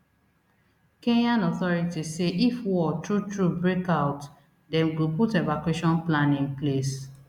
kenyan authorities say if war true true break out dem go put evacuation plan in place